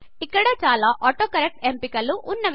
ఇక్కడ చాలా ఆటోకరెక్ట్ ఎంపిక లు వున్నవి